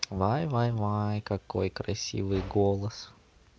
вай вай вай какой красивый голос